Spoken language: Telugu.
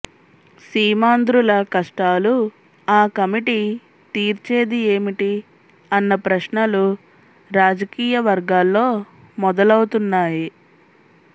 సీమాంధ్రుల కష్టాలు ఆ కమిటి తీర్చేది ఏమిటి అన్న ప్రశ్నలు రాజకీయ వర్గాల్లో మొదలవుతున్నాయి